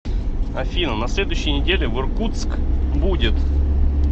афина на следующей неделе в иркутск будет